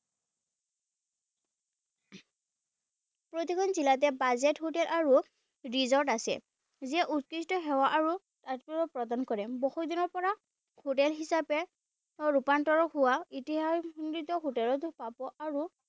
প্ৰতিখন জিলাতে Budget hotel আৰু Resort আছে যিয়ে উৎকৃষ্ট সেৱা আৰু প্ৰদান কৰে বহুত দিনৰ পৰা হোটেল হিচাপে ৰুপান্তৰ হোৱা ইতিহাশবিদ হোটেলত পাব আৰু